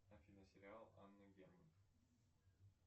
афина сериал анна герман